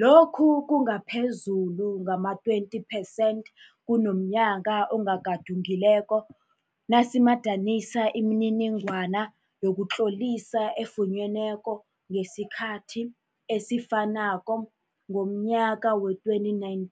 Lokhu kungaphezulu ngama-20 percent kunomnyaka ogadungi leko nasimadanisa imininingwana yokutlolisa efunyenweko ngesikhathi esifanako ngomnyaka wee2019